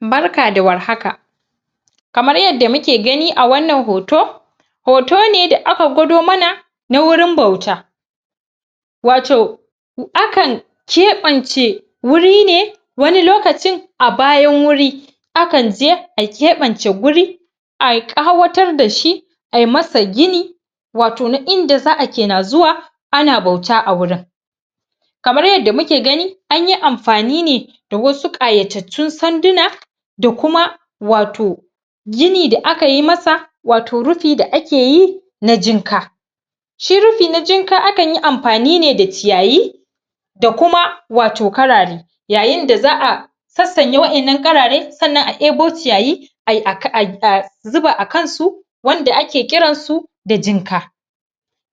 barka da war haka kamar yadda muke gani a wannan hoto hoto ne da aka gwado mana na wurin bauta wato akan keɓance wuri ne wani lokacin abayan wuri akan je a keɓance guri a ƙawatar dashi ayi masa gini wato na inda za'a kena zuwa ana bauta a gurin kamar yadda muke gani anyi amfani ne da wasu ƙayatattun sanduna da kuma wato gini da aka yi masa wato rufi da ake yi na jinka shi rufi na jinka akan yi amfani ne da ciyayi da kuma wato karare yayin da za'a sassanya wa'yan nan karare sannan a debo ciyayi a zuba akan su wanda ake kiran su da jinka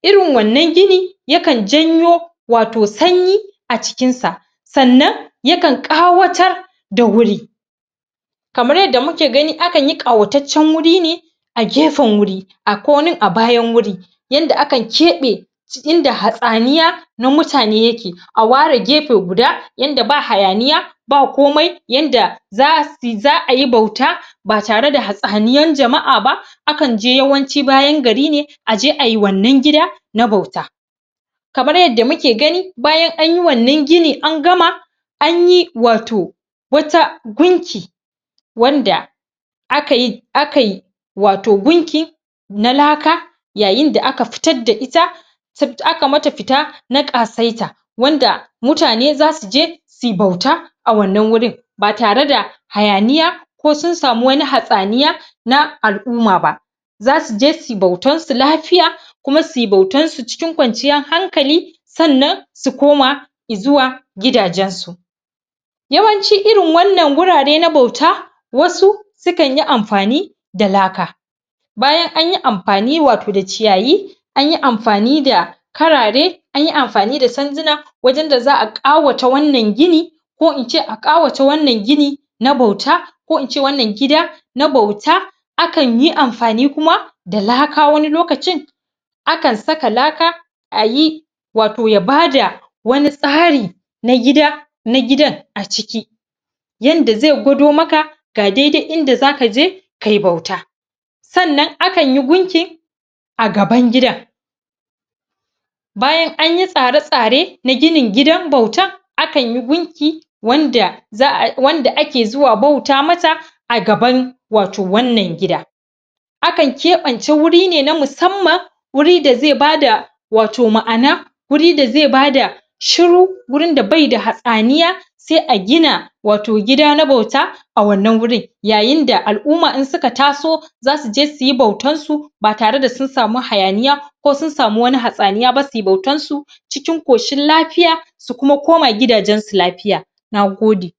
irin wannan gini yakan janyo wato sanyi a cikin sa sannan ya kan ƙawatar da wwuri kamar yadda muke gani akan yi ƙawataccen guri ne a gefen guri a ko wani a bayan wuri yanda akan ƙebe inda hatsaniya na mutane yake a ware gefe gudu yanda ba hayaniya ba komai yanda za'a yi bauta ba tare da hatsaniyan jama'a ba akan je yawanci bayan gari ne aje ayi wannan gida na bauta kamar yadd amuke gani bayan anyi wannan gini an gama anyi wato wata gungi wanda akai wato gunki na laka yayin da aka fitar daita aka mata fita na ƙasaita wanda mutane zasu je suyi bauta a wannan wurin ba tare da hayaniya ko sun samu wani hatsaniya na al'uma ba zasu je suyi bautan su lafiya kuma suyi bautan su cikin kwanciyar hankali sannan su koma i zuwa gidajen su yawanci irin wannan wurare na bauta wasu sukan yi amfani da laka bayan anyi amfani wato da ciyayi anyi amfani da karare anyi amfani da sanduna wajen da za'a ƙawata wannan gini ko in ce a ƙawata wannan gini na bauta ko in ce wannan gida na bauta akan yi amfani kuma da laka wani lokacin akan saka laka a yi wato ya bada wani tsari na gidan a ciki yanda zai gwado maka ga daidai inda zaka je kayi bauta sannan akan yi gunkin a gaban gidan bayan anyi tsare tsare na ginin gidan bautan akan yi gunki wanda wanda ake zuwa bauta masa a gaban wato wannan gida akan ƙebance wuri ne na musamman wuri da zai bada wato ma'ana wuri da zai bada shiru wurin da bai da hatsaniya sai a gina wato gida na bauta a wannan wurin yayin da al'uma in suka taso zasu je suyi bautan su ba tare da su samu hayaniya ko sun samu wani hatsaniya ba suyi bautan su cikin ƙoshin lafiya su kuma koma gidajen su lafiya na gode